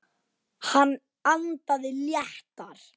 Hann andaði léttar.